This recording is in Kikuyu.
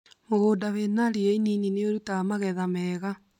Mũgũnda wĩna ria inini nĩ ũrutaga magetha mega